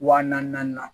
Wa naani naani